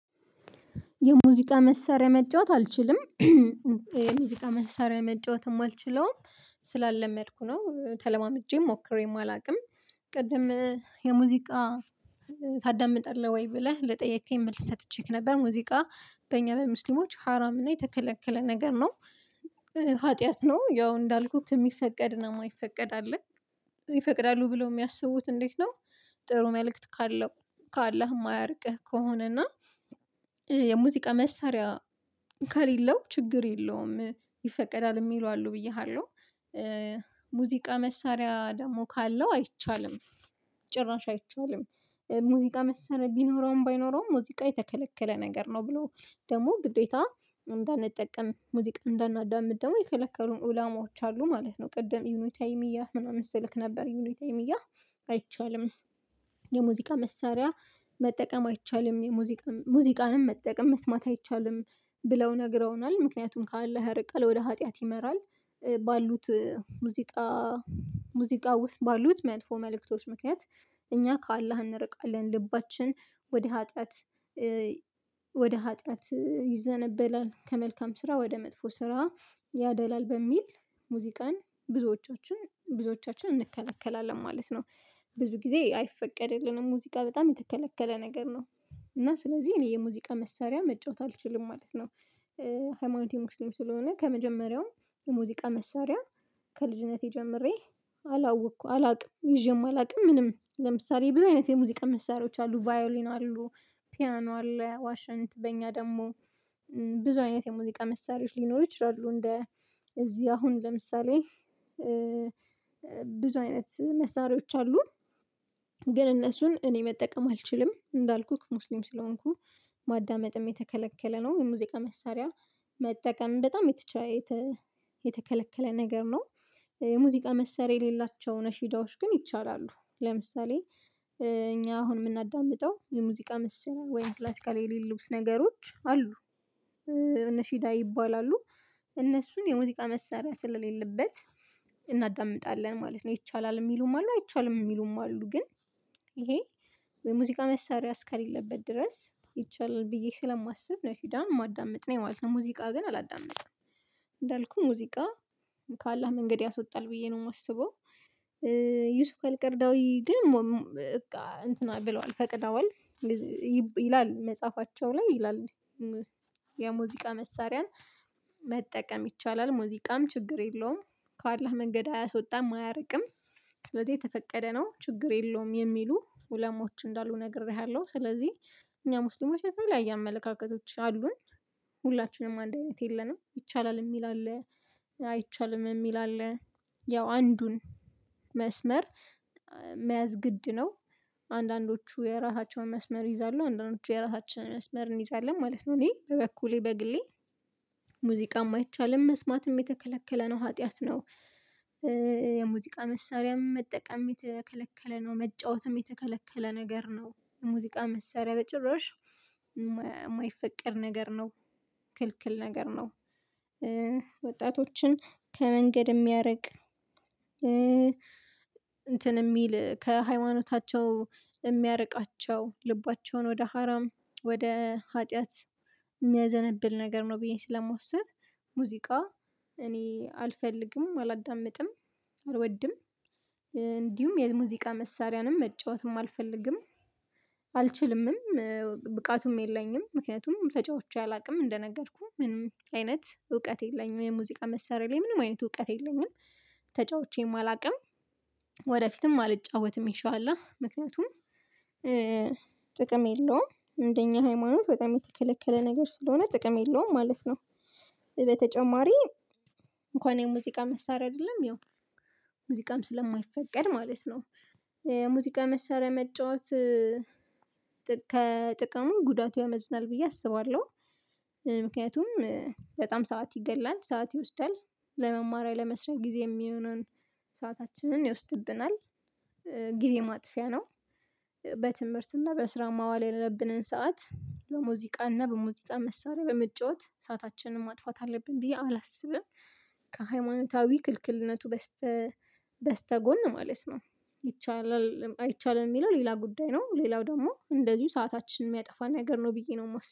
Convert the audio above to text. የሙዚቃ መሳሪያ መጫወት አልችልም። የሙዚቃ መሳሪያ መጫወትም አልችለውም ስላለመድኩ ነው ተለማምጄ ሞክሬም አላውቅም። ቅድም የሙዚቃ ታዳምጣለህ ወይ ብለህ ለጠየቀኝ መልስ ሰጥቼክ ነበር ሙዚቃ በእኛ በሙስሊሞች ሀራም እና የተከለከለ ነገር ነው ኃጢአት ነው ያው እንዳልኩክ የሚፈቀድ ነው የማይፈቀድ አለ ይፈቅዳሉ ብለው የሚያስቡት እንዴት ነው? ጥሩ መልእክት ካለው ካላህ የማያርቅህ ከሆነ እና የሙዚቃ መሳሪያ ካሌለው ችግር የለውም ይፈቀዳል የሚሉ አሉ ብዬሃለሁ። ሙዚቃ መሳሪያ ደግሞ ካለው አይቻልም ጭራሽ አይቻልም። ሙዚቃ መሳሪያ ቢኖረውም ባይኖረውም ሙዚቃ የተከለከለ ነገር ነው ብለው ደግሞ ግዴታ እንዳንጠቀም ሙዚቃ እንዳናዳምጥ ደግሞ የከለከሉን ኡላማዎች አሉ ማለት ነው። ቅድም ዩኒታይም እያ ምናምን ስልክ ነበር ዩኒታይም እያ አይቻልም። የሙዚቃ መሳሪያ መጠቀም አይቻልም የሙዚቃ ሙዚቃንም መጠቀም መስማት አይቻልም ብለው ነግረውናል ምክንያቱም ከአላህ ያርቀል ወደ ኃጢአት ይመራል። ባሉት ሙዚቃ ሙዚቃ ውስጥ ባሉት መጥፎ መልእክቶች ምክንያት እኛ ከአላህ እንርቃለን ልባችን ወደ ኃጢአት። ወደ ኃጢአት ይዘነበላል ከመልካም ስራ ወደ መጥፎ ስራ ያደላል በሚል ሙዚቃን ብዙዎቻችን ብዙዎቻችን እንከለከላለን ማለት ነው። ብዙ ጊዜ አይፈቀድልንም ሙዚቃ በጣም የተከለከለ ነገር ነው። እና ስለዚህ እኔ የሙዚቃ መሳሪያ መጫወት አልችልም ማለት ነው። ሃይማኖቴ ሙስሊም ስለሆነ ከመጀመሪያውም የሙዚቃ መሳሪያ ከልጅነቴ ጀምሬ አላወቅኩ አላውቅም ይዤም አላውቅም። ምንም ለምሳሌ ብዙ አይነት የሙዚቃ ምሳሌዎች አሉ ቫዮሊን አሉ ፒያኖ አለ ዋሽንት በኛ ደግሞ ብዙ አይነት የሙዚቃ መሳሪያዎች ሊኖሩ ይችላሉ እንደ እዚህ አሁን ለምሳሌ ብዙ አይነት መሳሪያዎች አሉ። ግን እነሱን እኔ መጠቀም አልችልም እንዳልኩህ ሙስሊም ስለሆንኩ ማዳመጥም የተከለከለ ነው የሙዚቃ መሳሪያ መጠቀም በጣም የተከለከለ ነገር ነው። የሙዚቃ መሳሪያ የሌላቸው ነፊዳዎች ግን ይቻላሉ ለምሳሌ እኛ አሁን የምናዳምጠው የሙዚቃ ምሳሪያ ወይም ክላሲካል የሌሉት ነገሮች አሉ እነሺዳ ይባላሉ። እነሱን የሙዚቃ መሰሪያ ስለሌለበት እናዳምጣለን ማለት ነው ይቻላል የሚሉም አሉ አይቻልም የሚሉም አሉ ግን ይሄ የሙዚቃ መሳሪያ እስከሌለበት ድረስ ይቻላል ብዬ ስለማስብ ነው ነፊደን የማዳምጥ ነው ማለት ነው። ሙዚቃ ግን አላዳምጥም እንዳልኩህ ሙዚቃ ከአላህ መንገድ ያስዎጣል ብዬ ነው የማስበው። ዩሱክ አልቀርዳዊ ግን እንትን ብለዋል ፈቅደዋል ይላል መጽሐፋቸው ላይ ይላል። የሙዚቃ መሳሪያን መጠቀም ይቻላል ሙዚቃም ችግር የለውም ከአላህ መንገድ አያስወጣም አያርቅም ስለዚህ የተፈቀደ ነው ችግር የለውም የሚሉ ዑለሞች እንዳሉ ነግሬሃለሁ። ስለዚህ እኛ ሙስሊሞች በተባለ አመለካከቶች አሉን ሁላችንም አንድ አይነት የለንም ይቻላል የሚል አለ አይቻልም የሚል አለ። ያው አንዱን መስመር መያዝ ግድ ነው አንዳንዶቹ የራሳቸውን መስመር ይይዛሉ አንዳንዶቹ የራሳችንን መስመር እንይዛለን ማለት ነው። እኔ በበኩሌ በግሌ ሙዚቃ አይቻልም መስማትም የተከለከለ ነው ኃጢአት ነው። የሙዚቃ መሳሪያም መጠቀም የተከለከለ ነው መጫወትም የተከለከለ ነገር ነው ሙዚቃ መሳሪያ በጭራሽ የማይፈቀድ ነገር ነው። ክልክል ነገር ነው። ወጣቶችን ከመንገድ የሚያርቅ እንትን የሚል ከሃይማኖታቸው የሚያርቃቸው ልባቸውን ወደ ሀራም ወደ ሀጢያት የሚያዘነብል ነገር ነው። ብዬ ስለማስብ ሙዚቃ እኔ አልፈልግም አላዳምጥም አልወድም እንዲሁም የሙዚቃ መሳሪያንም መጫወትም አልፈልግም። አልችልምም ብቃቱም የለኝም ምክንያቱም ተጫዋቾች አላውቅም እንደነገርኩህ ምንም አይነት እውቀት የለኝም የሙዚቃ መሳሪያ ላይ ምንም አይነት እውቀት የለኝም። ተጫውቼም አላውቅም። ወደፊትም አልጫወትም ይሻላል ምክንያቱም ጥቅም የለውም እንደኛ ሃይማኖት በጣም የተከለከለ ነገር ስለሆነ ጥቅም የለውም ማለት ነው። በተጨማሪ እንኳን የሙዚቃ መሳሪያ አይደለም ያው ሙዚቃም ስለማይፈቀድ ማለት ነው። ሙዚቃ መሳሪያ መጫወት ከጥቅሙ ጉዳቱ ያመዝናል ብዬ አስባለሁ። ምክንያቱም በጣም ሰዓት ይገድላል ሰዓት ይወስዳል ለመማራያ ለመስሪያ ጊዜ የሚሆነውን ሰአታችንን ይወስድብናል ጊዜ ማጥፊያ ነው። በትምህርትና በስራ ማዋል ያለብንን ሰዓት በሙዚቃ እና በሙዚቃ መሳሪያ በመጫወት ሰአታችንን ማጥፋት አለብን ብዬ አላስብም። ከሃይማኖታዊ ክልክልነቱ በስተ በስተጎን ማለት ነው። ይቻላል አይቻልም የሚለው ሌላ ጉዳይ ነው። ሌላው ደግሞ እንደዚሁ ሰአታችንን የሚያጠፋ ነገር ነው ብዬ ነው የምወስደው